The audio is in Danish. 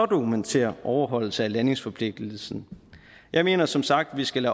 dokumentere overholdelse af landingsforpligtelsen jeg mener som sagt at vi skal